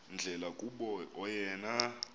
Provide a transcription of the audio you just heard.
ndlela kuba oyena